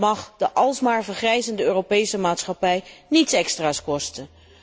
Het mag de alsmaar vergrijzende Europese maatschappij niets extra's kosten.